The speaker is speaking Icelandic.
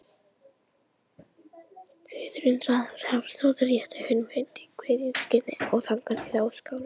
Guðrún Rafnsdóttir rétti honum hönd í kveðjuskyni og þagnaði þá skarinn.